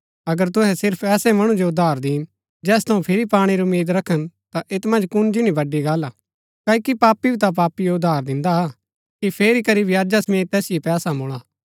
अगर तुहै सिर्फ ऐसै मणु जो उधार दिन जैस थऊँ फिरी पाणै री उम्मीद रखन ता ऐत मन्ज कुण जिनी बड़ी गल्ल हा क्ओकि पापी भी ता पापीओ उधार दिन्दा कि फेरी करी ब्याजा समेत तैसिओ पैसा मूल्ळा